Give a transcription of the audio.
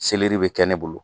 bɛ kɛ ne bolo